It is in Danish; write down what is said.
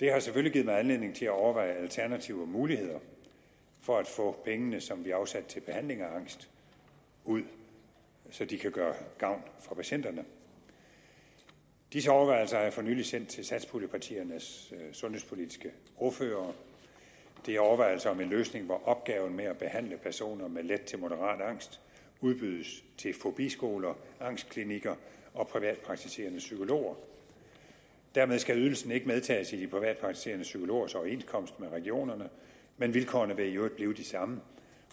det har selvfølgelig givet mig anledning til at overveje alternative muligheder for at få pengene som vi afsatte til behandling af angst ud så de kan gøre gavn for patienterne disse overvejelser har jeg for nylig sendt til satspuljepartiernes sundhedspolitiske ordførere og det er overvejelser om en løsning hvor opgaven med at behandle personer med let til moderat angst udbydes til fobiskoler angstklinikker og privatpraktiserende psykologer dermed skal ydelsen ikke medtages i de privatpraktiserende psykologers overenskomst med regionerne men vilkårene vil i øvrigt blive de samme